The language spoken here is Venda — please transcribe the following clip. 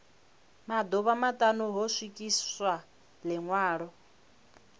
maḓuvha maṱanu ho swikiswa ḽiṅwalo